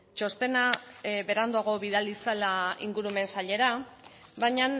txostena beranduago bidali zela ingurumen sailera baina